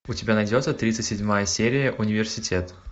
у тебя найдется тридцать седьмая серия университет